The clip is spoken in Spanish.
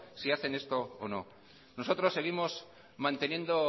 si hace esto o no nosotros seguimos manteniendo